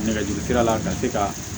Nɛgɛjurusira la ka se ka